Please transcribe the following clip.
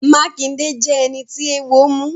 Makinde jẹ ẹni tí eewo mu.